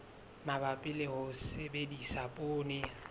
mabapi le ho sebedisa poone